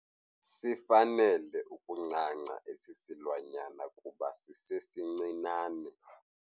Sifanele ukuncanca esi silwanyana kuba sisesincinane.